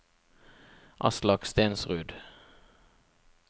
Aslak Stensrud